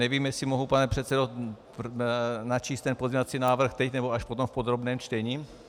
Nevím, jestli mohu, pane předsedo, načíst ten pozměňovací návrh teď, nebo až potom v podrobném čtení.